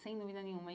Sem dúvida nenhuma.